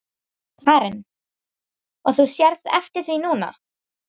Karen: Og þú sérð eftir því núna?